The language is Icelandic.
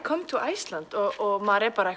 come to Iceland og maður er bara